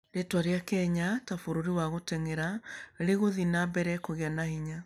Rĩĩtwa rĩa Kenya ta bũrũri wa gũteng'era rĩgũthiĩ na mbere kũgĩa na hinya.